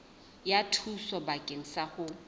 ya thuso bakeng sa ho